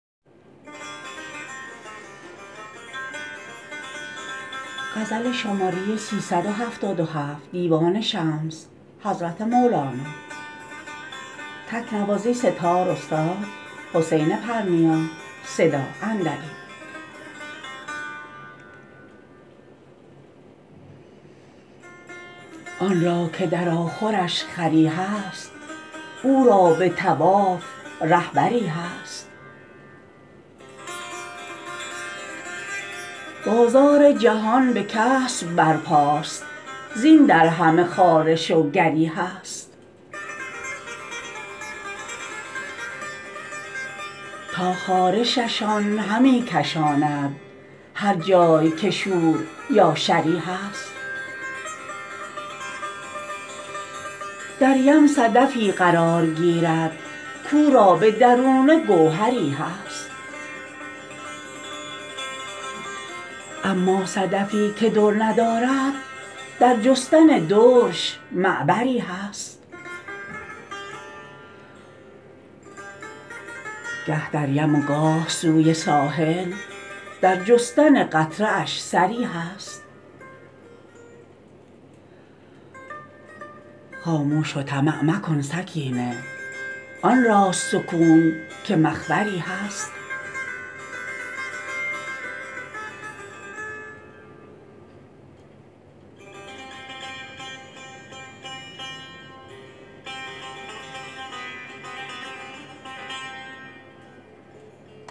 آن را که در آخرش خری هست او را به طواف رهبری هست بازار جهان به کسب برپاست زین در همه خارش و گری هست تا خارششان همی کشاند هر جای که شور یا شری هست در یم صدفی قرار گیرد کاو را به درونه گوهری هست اما صدفی که در ندارد در جستن درش معبری هست گه در یم و گاه سوی ساحل در جستن قطره اش سری هست خاموش و طمع مکن سکینه آن راست سکون که مخبری هست